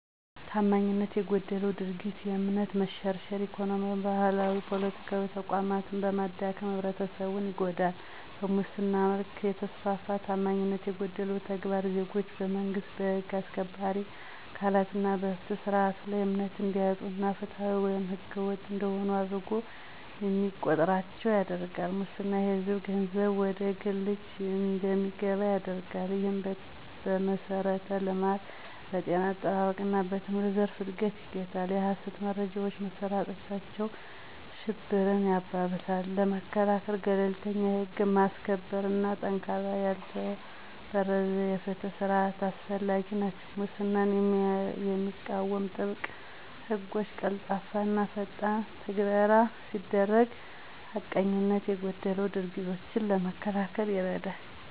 ታማኝነት የጎደለው ድርጊት እምነትን በመሸርሸር፣ ኢኮኖሚያዊ፣ ማህበራዊና ፖለቲካዊ ተቋማትን በማዳከም ህብረተሰቡን ይጎዳል። በሙስና መልክ የተስፋፋ ታማኝነት የጎደለው ተግባር ዜጎች በመንግስት፣ በህግ አስከባሪ አካላት እና በፍትህ ስርዓቱ ላይ እምነት እንዲያጡ እና ፍትሃዊ ወይም ህገወጥ እንደሆኑ አድርጎ እንዲቆጥራቸው ያደርጋል። ሙስና የሕዝብን ገንዘብ ወደ ግል እጅ እንዲገባ ያደርጋል፣ ይህም በመሠረተ ልማት፣ በጤና አጠባበቅ እና በትምህርት ዘርፍን እድገት ይገታል። የሀሰት መረጃዎች መሰራጨታቸው ሽብርን ያባብሳል። ለመከላከል - ገለልተኛ የህግ ማስከበር እና ጠንካራ ያልተበረዘ የፍትህ ስርዓት አስፈላጊ ናቸው። ሙስናን የሚቃወሙ ጥብቅ ሕጎች፣ ቀልጣፋና ፈጣን ትግበራ ሲደረግ ሐቀኝነት የጎደላቸው ድርጊቶችን ለመከላከል ይረዳል።